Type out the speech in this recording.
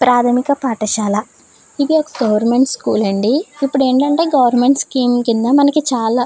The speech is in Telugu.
ప్రాథమిక పాఠశాల ఇది ఒక గవర్నమెంట్ స్కూల్ అండి ఇప్పుడు ఏంటంటే గవర్నమెంట్ స్కీమ్ కింద మనకి చాలా.